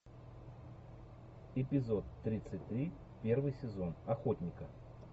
эпизод тридцать три первый сезон охотника